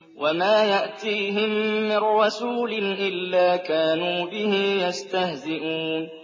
وَمَا يَأْتِيهِم مِّن رَّسُولٍ إِلَّا كَانُوا بِهِ يَسْتَهْزِئُونَ